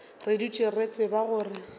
re dutše re tseba gore